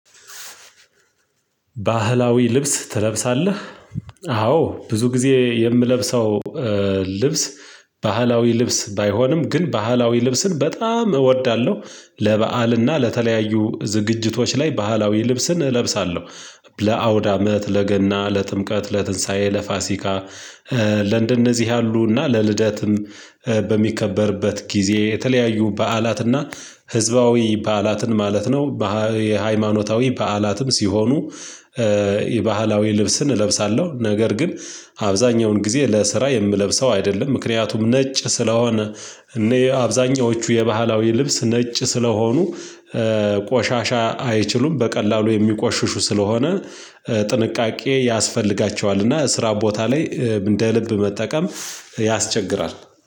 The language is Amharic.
ባህላዊ ልብስ ትለብሳለህ? አዎ ብዙ ጊዜ የምለብሰው ልብስ ባህላዊ ልብስ ባይሆንም ግን ባህላዊ ልብስን በጣም እወዳለሁ። ለበአልና ለተለያዩ ዝግጅቶች ላይ ባህላዊ ልብስን እለብሳለሁ። ለአውዳመት ለገና ለጥምቀት ለትንሳኤ ለፋሲካ። ለንደነዚህ ያሉ እና ለልደትም በሚከበርበት ጊዜ የተለያዩ በዓላትና ህዝባዊ በዓላትን ማለት ነው። የሃይማኖታዊ በዓላትም ሲሆኑ የባህላዊ ልብስን እለብሳለሁ። ነገር ግን አብዛኛውን ጊዜ ለስራ የምለብሰው አይደለም። ምክንያቱም ነጭ ስለሆነ እኔ አብዛኞቹ የባህላዊ ልብስ ነጭ ስለሆኑ። ቆሻሻ አይችሉም በቀላሉ የሚቆሽሹ ስለሆነ። ጥንቃቄ ያስፈልጋቸዋል እና ስራ ቦታ ላይ እንደ ልብ መጠቀም ያስቸግራል።